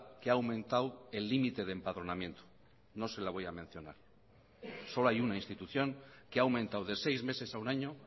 que ha aumentado el límite de empadronamiento no se la voy a mencionar solo hay una institución que ha aumentado de seis meses a un año